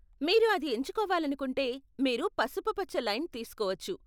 మీరు అది ఎంచుకోవాలనుకుంటే మీరు పసుపుపచ్చ లైన్ తీసుకోవచ్చు.